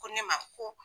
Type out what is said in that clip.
Ko ne ma ko